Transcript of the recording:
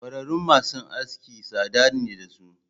Kwararun masu aski tsada ne dasu.